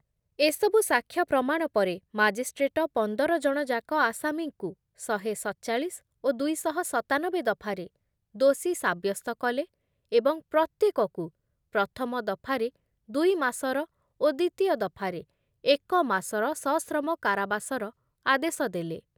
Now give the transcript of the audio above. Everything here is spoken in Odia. ଏସବୁ ସାକ୍ଷ୍ୟ ପ୍ରମାଣ ପରେ ମାଜିଷ୍ଟ୍ରେଟ ପନ୍ଦରଜଣ ଯାକ ଆସାମୀଙ୍କୁ ଶହେ ସତଚାଳିଶ ଓ ଦୁଇ ଶହ ସତାନବେ ଦଫାରେ ଦୋଷୀ ସାବ୍ୟସ୍ତ କଲେ ଏବଂ ପ୍ରତ୍ୟେକକୁ ପ୍ରଥମ ଦଫାରେ ଦୁଇମାସର ଓ ଦ୍ଵିତୀୟ ଦଫାରେ ଏକମାସର ସଶ୍ରମ କାରାବାସର ଆଦେଶ ଦେଲେ ।